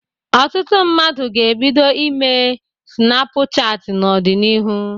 Ọtụtụ mmadụ ga-ebido ime sịnapụ chatị n'ọdịnihu.